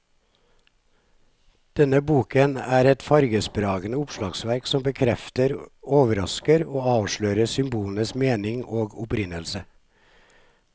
Denne boken er et fargesprakende oppslagsverk som bekrefter, overrasker og avslører symbolenes mening og opprinnelse.